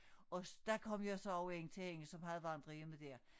Og dér kom jeg så ind til hende som havde vandrehjemmet dér